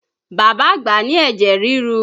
Bàbá àgbà ní ẹ̀jẹ̀ rirú